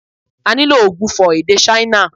A nílò ògbufọ̀ èdè Ṣáínà